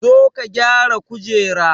Zo ka gyara kujera